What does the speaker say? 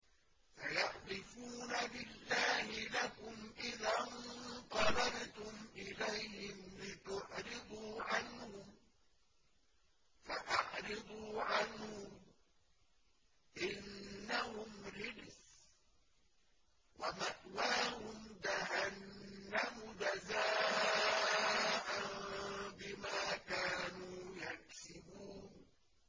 سَيَحْلِفُونَ بِاللَّهِ لَكُمْ إِذَا انقَلَبْتُمْ إِلَيْهِمْ لِتُعْرِضُوا عَنْهُمْ ۖ فَأَعْرِضُوا عَنْهُمْ ۖ إِنَّهُمْ رِجْسٌ ۖ وَمَأْوَاهُمْ جَهَنَّمُ جَزَاءً بِمَا كَانُوا يَكْسِبُونَ